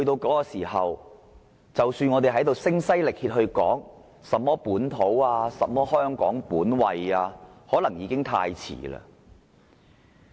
屆時，即使我們在此聲嘶力竭，說甚麼本土和香港本位，可能已經太遲了。